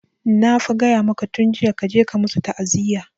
Na fa gaya maka tun jiya kaje ka musu ta'aziya!